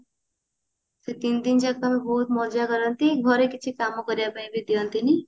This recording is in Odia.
ସେ ତିନିଦିନ ଯାକ ବହୁତ ମଜା କରନ୍ତି ଘରେ କିଛି କାମ କରିବା ପାଇଁ ବି ଦିଅନ୍ତି ନି